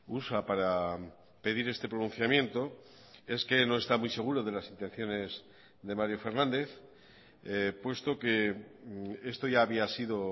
usa para pedir este pronunciamiento es que no está muy seguro de las intenciones de mario fernández puesto que esto ya había sido